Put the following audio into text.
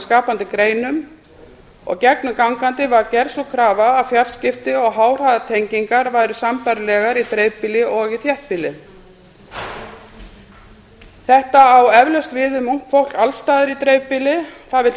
skapandi greinum og gegnumgangandi var gerð sú krafa að fjarskipti og háhraðatengingar væru sambærilegar í dreifbýli og í þéttbýli þetta á eflaust við um ungt fólk alls staðar í dreifbýli það vill